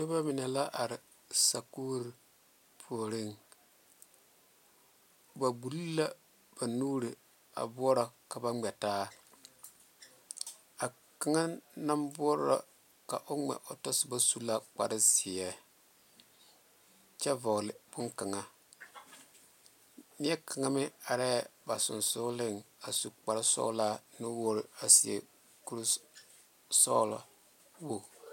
Noba mine la are sakuuri puoriŋ ba kpuli la ba nuuri bore ka ba ŋmɛ taa a kaŋa naŋ borɔ ka o ŋma o taa soba suu la kpaare zeɛ kyɛ vɔle bone kaŋa neɛ kaŋe meŋ are ba sonsoŋle a suu kpaare soɔla kuri soɔlɔ.